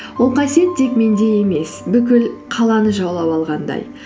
ол қасиет тек менде емес бүкіл қаланы жаулап алғандай